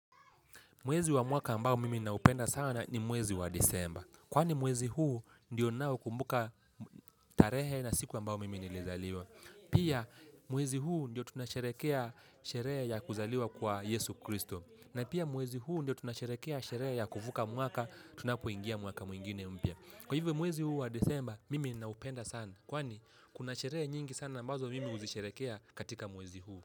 Mwezi wa mwaka ambao mimi naupenda sana ni mwezi wa Disemba. Kwani mwezi huu ndiyo ninao kumbuka tarehe na siku ambayo mimi nilizaliwa. Pia mwezi huu ndiyo tunasherehekea sherehe ya kuzaliwa kwa Yesu Kristo. Na pia mwezi huu ndio tunasherehekea sherehe ya kuvuka mwaka tunapoingia mwaka mwingine mpya. Kwa hivyo mwezi huu wa Disemba mimi ninaupenda sana kwani kuna sherehe nyingi sana ambazo mimi uzisherehekea katika mwezi huu.